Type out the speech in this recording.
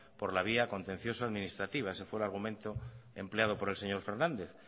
por la vía contencioso administrativa ese fue el argumento empleado por el señor fernández